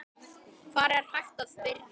Hvar er hægt að byrja?